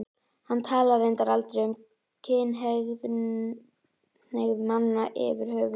Hann talar reyndar aldrei um kynhneigð manna yfirhöfuð.